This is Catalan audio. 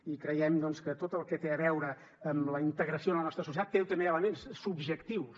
i creiem doncs que tot el que té a veure amb la integració en la nostra societat té també elements subjectius